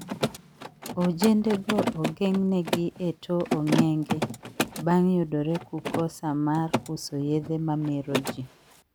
Ojende go ogengnegi e to ong`enge bang yudore ku kosa mar uso yedhe ma meroji